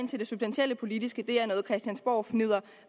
ind til det substantielt politiske er noget christiansborgfnidder